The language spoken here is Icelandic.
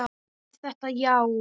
Var þetta já?